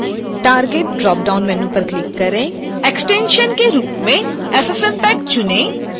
target drop down menu पर click करें extension के रूप में ffmpeg चुनें